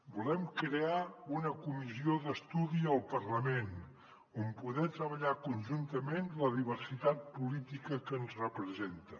volem crear una comissió d’estudi al parlament on poder treballar conjuntament la diversitat política que ens representa